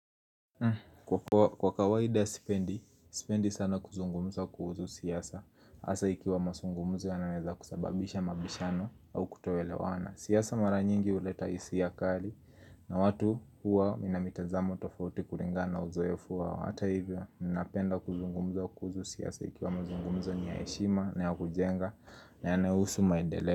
Kwa kawaidi sipendi, sipendi sana kuzungumza kuhusu siasa, hasa ikiwa mazungumzo yanaweza kusababisha mabishano au kutoelewana. Siasa mara nyingi huleta hisia kali na watu huwa na mitazamo tofauti kulingana uzoefu wao. Hata hivyo ninapenda kuzungumza kuhusu siasa ikiwa mazungumzo ni ya heshima na ya kujenga na yanahusu maendeleo.